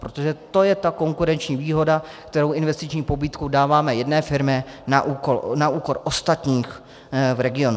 Protože to je ta konkurenční výhoda, kterou investiční pobídkou dáváme jedné firmě na úkor ostatních v regionu.